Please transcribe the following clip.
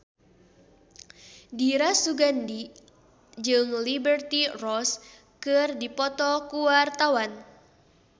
Dira Sugandi jeung Liberty Ross keur dipoto ku wartawan